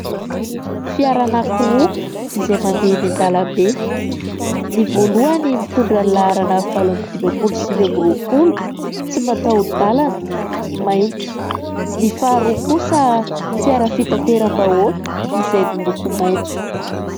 Fiara anankiroa izay mandeha eny an-dalambe. Ny voalohany mitondra ny laharana valo amby dimampolo sivy amby roapolo, tsy mataho-dalana, mainty. Ny faharoa kosa fiara fitateram-bahoaka izay miloko maitso.